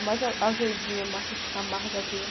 Mais ah, azedinha, amar, amargazinha.